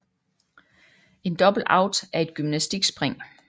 En double out er et gymnastikspring